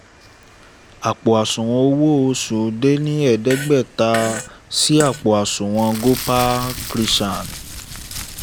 àpò àṣùwọ̀n owó oṣù dé ní ẹ̀ẹ́dẹ́gbẹ̀ta sí àpò àṣùwọn gopal krishan